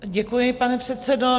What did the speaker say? Děkuji, pane předsedo.